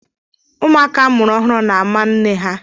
Ụmụaka a mụrụ ọhụrụ na-ámá nne ha.